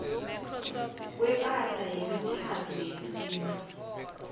kwepahla yemitjhado yesintu